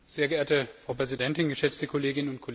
Frau Präsidentin, geschätzte Kolleginnen und Kollegen!